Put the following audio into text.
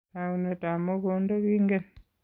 Taunetab mogondo kengen.